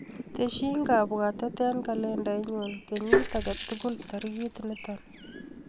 Tesyi kabwatet eng kalendainyu kenyit akatukul tarikit nito.